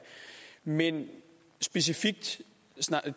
men specifikt